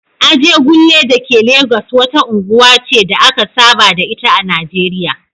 Ajegunle da ke Legas wata unguwa ce da aka saba da ita a Najeriya